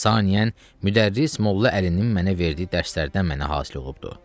Saniyən, müdərrris Molla Əlinin mənə verdiyi dərslərdən mənə hasil olubdur.